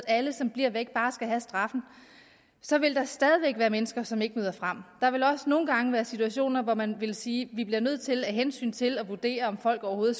at alle som bliver væk bare skal have straf så vil der stadig væk være mennesker som ikke møder frem der vil også nogle gange være situationer hvor man ville sige at vi bliver nødt til at af hensyn til at vurdere om folk overhovedet